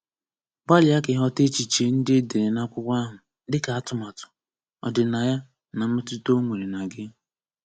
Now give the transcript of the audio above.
Gbalia ka ịghọta echiche ndị e dere na akwụkwọ ahụ, dịka atụmatu, ọdịnaya, na mmetụta ọ nwere na gị.